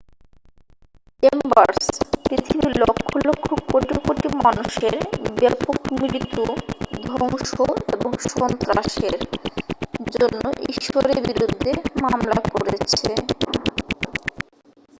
"Chambers "পৃথিবীর লক্ষ লক্ষ কোটি কোটি মানুষের ব্যাপক মৃত্যু ধ্বংস এবং সন্ত্রাসের" জন্য ঈশ্বরের বিরুদ্ধে মামলা করেছে।